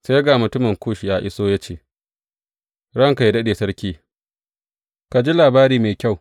Sai ga mutumin Kush ya iso ya ce, Ranka yă daɗe sarki, ka ji labari mai kyau!